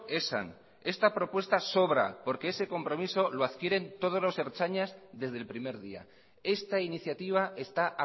esan esta propuesta sobra porque ese compromiso lo adquieren todos los ertzainas desde el primer día esta iniciativa está